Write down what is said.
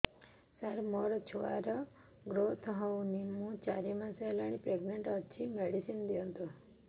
ସାର ମୋର ଛୁଆ ର ଗ୍ରୋଥ ହଉନି ମୁ ଚାରି ମାସ ପ୍ରେଗନାଂଟ ଅଛି ମେଡିସିନ ଦିଅନ୍ତୁ